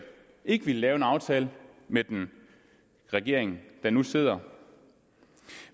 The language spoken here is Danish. ikke ville lave en aftale med den regering der nu sidder